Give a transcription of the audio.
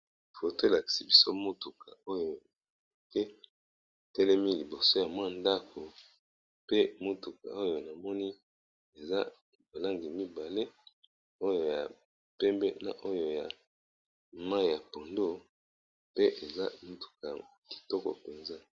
Foto elakisi biso motuka oyo ke etelemi liboso ya mwa ndako pe motuka oyo namoni eza ba langi mibale oyo ya pembe na oyo ya mai ya pondo pe eza motuka ya kitoko penza.